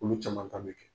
Olu caman ta bɛ kɛ